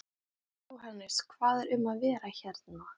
Sunna Sæmundsdóttir: Jóhannes hvað er um að vera hérna?